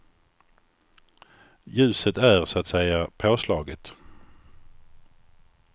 Ljuset är så att säga påslaget.